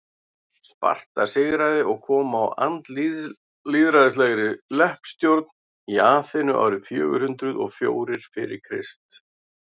sparta sigraði og kom á andlýðræðislegri leppstjórn í aþenu árið fjögur hundruð og fjórir fyrir krist